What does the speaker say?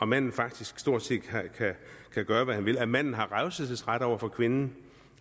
manden faktisk stort set kan gøre hvad han vil at manden har revselsesret over for kvinden